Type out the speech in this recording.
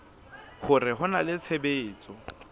hore ho na le tshebetso